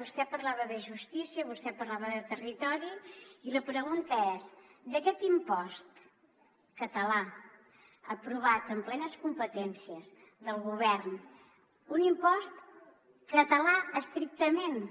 vostè parlava de justícia vostè parlava de territori i la pregunta és d’aquest impost català aprovat amb plenes competències del govern un impost català estrictament